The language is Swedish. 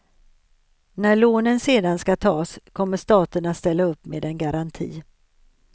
När lånen sedan ska tas, kommer staten att ställa upp med en garanti.